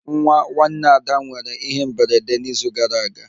Nwa nwanne ada nwere ihe mberede n'izu gara aga